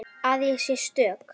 Að ég sé stök.